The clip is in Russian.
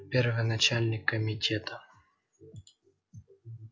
первый начальник комитета